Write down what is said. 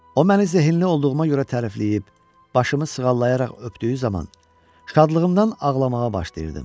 O məni zehinli olduğuma görə tərifləyib, başımı sığallayaraq öpdüyü zaman şadlığımdan ağlamağa başlayırdım.